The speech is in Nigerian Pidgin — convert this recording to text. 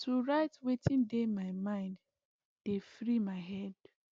to write wetin dey my mind dey free my head